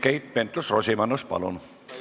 Keit Pentus-Rosimannus, palun!